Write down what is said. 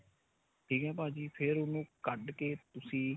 ਠੀਕ ਏ ਭਾਜੀ ਫੇਰ ਉਹਨੂੰ ਕੱਢ ਕੇ ਤੁਸੀਂ